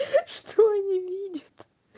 что они видят